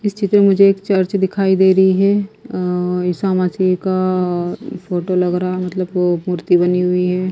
इस चित्र में मुझे एक चर्च दिखाई दे रही है अ ईसा मसीह का फोटो लग रहा है मतलब वो मूर्ति बनी हुई है।